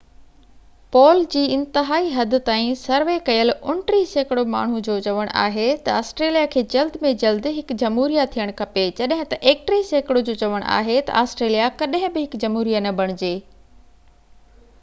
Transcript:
پول جي انتهائي حد تائين سروي ڪيل 29 سيڪڙو ماڻهو جو مڃڻ آهي ته آسٽريليا کي جلد ۾ جلد هڪ جمهوريه ٿيڻ گهرجي جڏهن ته 31 سيڪڙو جو چوڻ آهي ته آسٽريليا ڪڏهن به هڪ جمهوريه نه بڻجي